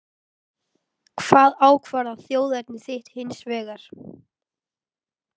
Hvað ákvarðar þjóðerni þitt hins vegar?